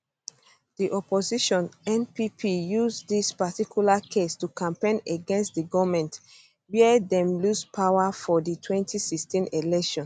di opposition npp use dis particular case to campaign against di goment wia dem lose power for di 2016 elections